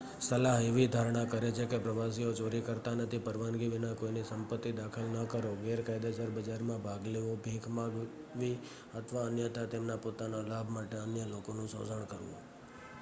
સલાહ એવી ધારણા કરે છે કે પ્રવાસીઓ ચોરી કરતા નથી, પરવાનગી વિના કોઈની સંપત્તિ દાખલ ન કરો ગેરકાયદેસર બજારમાં ભાગ લેવો ભીખ માંગવી અથવા અન્યથા તેમના પોતાના લાભ માટે અન્ય લોકોનું શોષણ કરવું